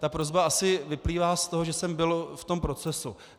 Ta prosba asi vyplývá z toho, že jsem byl v tom procesu.